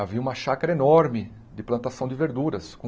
Havia uma chácara enorme de plantação de verduras, com